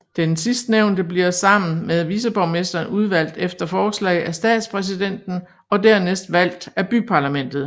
Den sidstnævnte bliver sammen med viceborgmesteren udvalgt efter forslag af statspræsidenten og dernæst valgt af byparlamentet